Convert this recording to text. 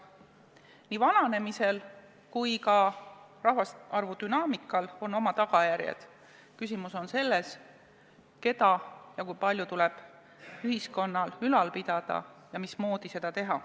Nii vananemisel kui ka rahvaarvu dünaamikal on oma tagajärjed, küsimus on selles, keda ja kui palju tuleb ühiskonnal ülal pidada ja mismoodi seda teha.